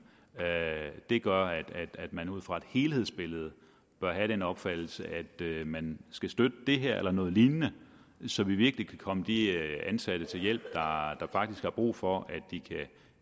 gør at man ud fra et helhedsbillede bør have den opfattelse at man skal støtte det her eller noget lignende så vi virkelig kan komme de ansatte til hjælp der faktisk har brug for at